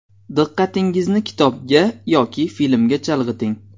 Diqqatingizni kitobga yoki filmga chalg‘iting.